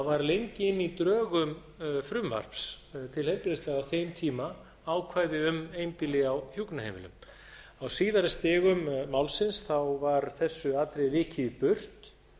var lengi inni í drögum frumvarps til heilbrigðislaga á þeim tíma ákvæði um einbýli á hjúkrunarheimilum á síðari stigum málsins var þessu atriði vikið í burt